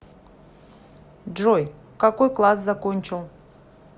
джой какой класс закончил